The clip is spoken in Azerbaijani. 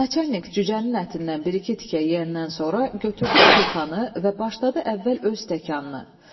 Naçalik cücənin ətindən bir-iki tikə yeyəndən sonra götürdü butulkanı və başladı əvvəl öz stəkanını.